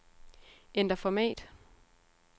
Ændr format.